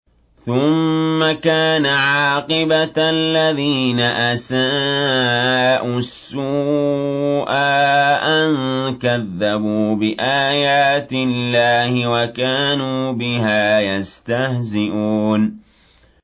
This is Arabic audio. ثُمَّ كَانَ عَاقِبَةَ الَّذِينَ أَسَاءُوا السُّوأَىٰ أَن كَذَّبُوا بِآيَاتِ اللَّهِ وَكَانُوا بِهَا يَسْتَهْزِئُونَ